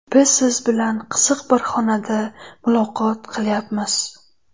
Biz siz bilan qiziq bir xonada muloqot qilyapmiz.